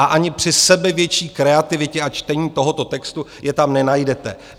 A ani při sebevětší kreativitě a čtení tohoto textu je tam nenajdete.